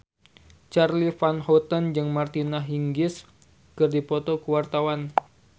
Charly Van Houten jeung Martina Hingis keur dipoto ku wartawan